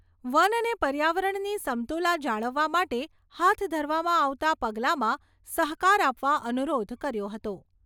One અને પર્યાવરણની સમતુલા જાળવવા માટે હાથ ધરવામાં આવતા પગલામાં સહકાર આપવા અનુરોધ કર્યો હતો.